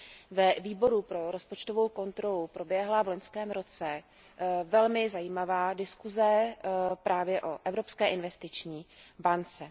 Ve Výboru pro rozpočtovou kontrolu proběhla v loňském roce velmi zajímavá diskuse právě o Evropské investiční bance.